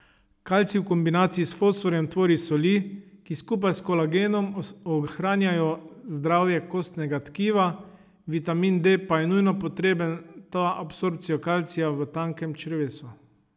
Kalcij v kombinaciji s fosforjem tvori soli, ki skupaj s kolagenom ohranjajo zdravje kostnega tkiva, vitamin D pa je nujno potreben ta absorpcijo kalcija v tankem črevesu.